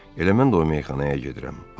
Elə mən də o meyxanaya gedirəm.